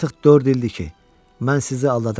Artıq dörd ildir ki, mən sizi aldadıram.